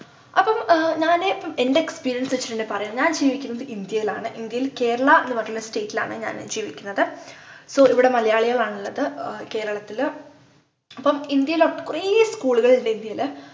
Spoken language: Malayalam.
അപ്പോം ആഹ് ഞാന് പ്പം എൻ്റെ experience വച്ചിട്ടെന്നെ പറയാൻ ഞാൻ ജീവിക്കുന്നത് ഇന്ത്യയിലാണ് ഇന്ത്യയിൽ കേരള എന്ന് പറഞ്ഞിട്ടുള്ള state ലാണ് ഞാന് ജീവിക്കുന്നത് so ഇവിടെ മലയാളികൾ ആണ്ള്ളത് ഏർ കേരളത്തില് അപ്പം ഇന്ത്യയില് അപ്പം കൊറേ school കൾ ഇണ്ട് ഇന്ത്യയില്